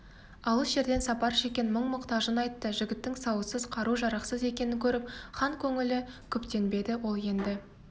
алыс жерден сапар шеккен мұң-мұқтажын айтты жігіттің сауытсыз қару-жарақсыз екенін көріп хан көңілі күптенбеді ол енді